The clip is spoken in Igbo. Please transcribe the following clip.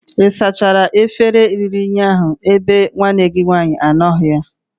ị sachara efere ruru unyi ahu ebe nwanne gi nwaanyi anọghi?